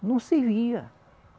Não servia.